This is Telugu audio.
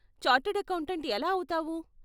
చార్టర్డ్ అకౌంటెంట్ ఎలా అవుతావు?